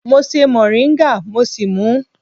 Mo ṣe mọ̀ríńgà mo sì mú ú.